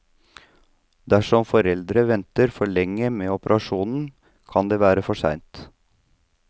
Dersom foreldre venter for lenge med operasjonen, kan det være for sent.